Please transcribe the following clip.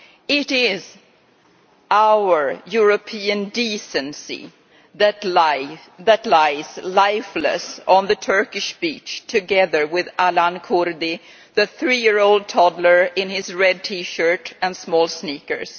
It is our European decency that lies lifeless on the Turkish beach together with Aylan Kurdi, the three year old toddler in his red T shirt and small sneakers.